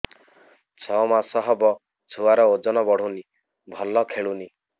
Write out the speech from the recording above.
ଛଅ ମାସ ହବ ଛୁଆର ଓଜନ ବଢୁନି ଭଲ ଖେଳୁନି